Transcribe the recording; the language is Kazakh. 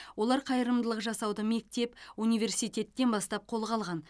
олар қайырымдылық жасауды мектеп университеттен бастап қолға алған